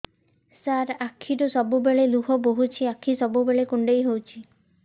ମୋର ଆଖିରୁ ସବୁବେଳେ ଲୁହ ବୋହୁଛି ଆଖି ସବୁବେଳେ କୁଣ୍ଡେଇ ହଉଚି